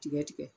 Tigɛ tigɛ